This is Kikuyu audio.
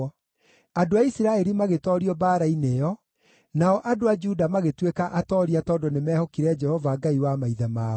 Andũ a Isiraeli magĩtoorio mbaara-inĩ ĩyo; nao andũ a Juda magĩtuĩka atooria tondũ nĩmehokire Jehova, Ngai wa maithe mao.